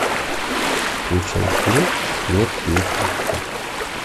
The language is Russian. включай фильм смерть ей к лицу